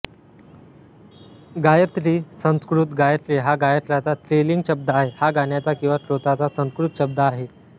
गायत्री संस्कृत गायत्री हा गायत्राचा स्त्रीलिंग शब्द आहे हा गाण्याचा किंवा स्तोत्राचा संस्कृत शब्द आहे